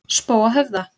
Spóahöfða